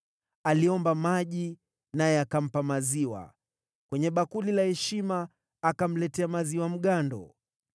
Aliomba maji, naye akampa maziwa; kwenye bakuli la heshima akamletea maziwa mgando.